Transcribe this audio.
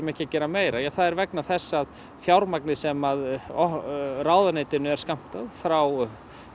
ekki að gera meira það er vegna þess að fjármagnið sem ráðuneytinu er skammtað frá